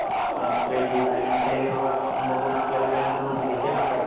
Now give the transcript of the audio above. अ credit आणि आपले व्यवहार बघून आपल्याला bank loan देते ना परत